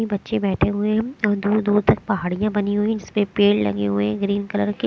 ये बच्चे बैठे हुए हैं और दूर दूर तक पहाड़ियां बनी हुई जिसपे पेड़ लगे हुए हैं ग्रीन कलर के।